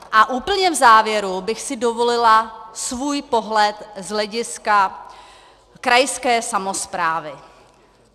A úplně v závěru bych si dovolila svůj pohled z hlediska krajské samosprávy.